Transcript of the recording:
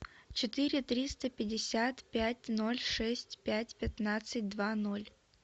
четыре триста пятьдесят пять ноль шесть пять пятнадцать два ноль